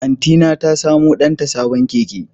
Antyna ta samu danta sabon keke.